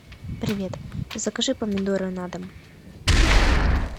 привет закажи помидоры на дом